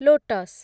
lotus